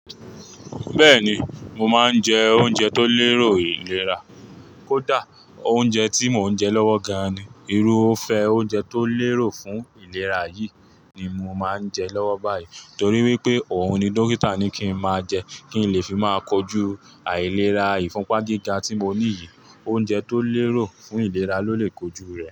Bẹ́ẹ̀ni, mo máa ń jẹ oúnjẹ tó lérò ìlera. Kódà oúnjẹ tí mo ń jẹ lọ́wọ gan ni. Irúfẹ́ oúnjẹ tó lérò fún ìlera yìí ni mo ń jẹ lọ́wọ́ báyìí torí wípé òhun ni dókítà ní kí n máa jẹ kí ń lè fi máa kojú àìlera ìfúnpá gíga tí mo ní yìí. Oúnjẹ tó lérò fún ìlera ló lè kojú rẹ̀